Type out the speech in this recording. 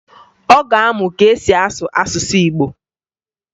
Ọ ga-amụ ka e si asụ asụsụ Igbo